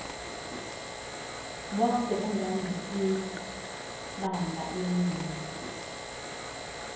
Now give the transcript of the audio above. bonke endandikwibanga elinye